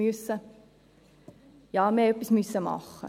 Ja, wir mussten etwas machen.